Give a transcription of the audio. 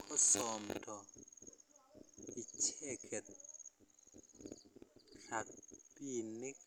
kosomdo icheget rabinik